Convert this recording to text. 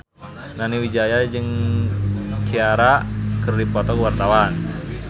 Nani Wijaya jeung Ciara keur dipoto ku wartawan